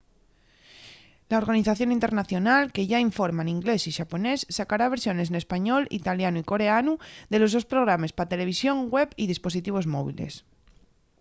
la organización internacional que yá informa n'inglés y xaponés sacará versiones n'español italianu y coreanu de los sos programes pa televisón web y dispositivos móviles